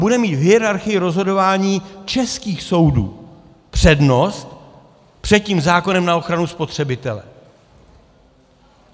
Bude mít v hierarchii rozhodování českých soudů přednost před tím zákonem na ochranu spotřebitele.